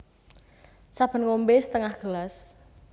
Saben ngombé setengah gelas